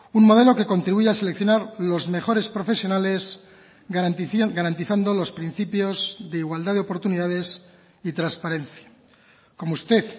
un modelo que contribuya a seleccionar los mejores profesionales garantizando los principios de igualdad de oportunidades y transparencia como usted